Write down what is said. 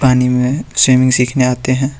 पानी में स्विमिंग सीखने आते हैं।